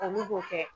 Olu b'o kɛ